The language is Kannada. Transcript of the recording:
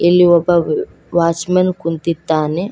ಅಲ್ಲಿ ಒಬ್ಬ ವಾಚ್ ಮೆನ್ ಕುಂತಿದ್ದಾನೆ.